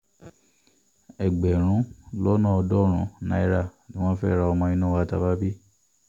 ẹgbẹ̀rún lọ́nà ọ̀ọ́dúnrún náírà ni wọ́n fẹ́ẹ́ ra ọmọ inú wa tá a bá bí i